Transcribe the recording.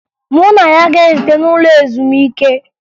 Mụ na ya ga-ezute n'ụlọ ezumike